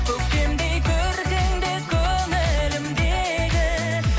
көктемдей көркіңді көңілімдегі